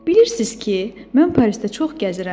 Bilirsiniz ki, mən Parisdə çox gəzirəm.